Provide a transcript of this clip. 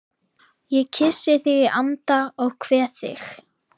Ég kyssi þig í anda og kveð þig